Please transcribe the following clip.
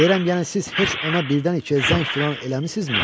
Deyirəm yəni siz heç ona birdən-ikiyə zəng filan eləmisinizmi?